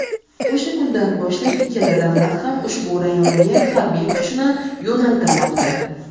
O‘sha kundan boshlab ikkala davlat ham ushbu rayonga harbiy kuchini yo‘naltirmoqda.